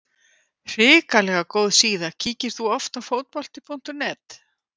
Hrikalega góð síða Kíkir þú oft á Fótbolti.net?